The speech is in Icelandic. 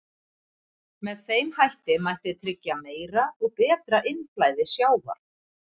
Með þeim hætti mætti tryggja meira og betra innflæði sjávar.